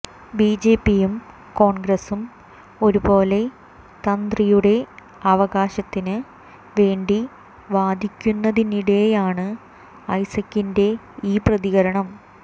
ബിജെപിയും കോൺഗ്രസും ഒരുപോലെ തന്ത്രിയുടെ അവകാശത്തിന് വേണ്ടി വാദിക്കുന്നതിനിടെയാണ് ഐസകിന്റെ ഈ പ്രതികരണം